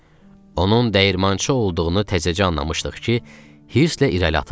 Onun dəyirmançı olduğunu təzəcə anlamışdıq ki, hisslə irəli atıldı.